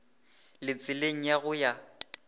le tseleng ya go ya